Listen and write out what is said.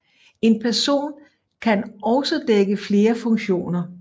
En person kan også dække flere funktioner